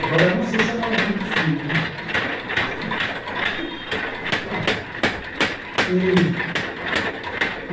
Agora, não sei se ela era muito fina, né?